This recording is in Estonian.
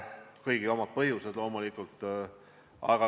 Kõigil olid loomulikult omad põhjused.